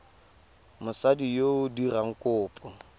mosadi yo o dirang kopo